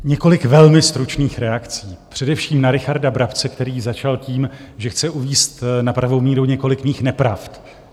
Několik velmi stručných reakcí, především na Richarda Brabce, který začal tím, že chce uvést na pravou míru několik mých nepravd.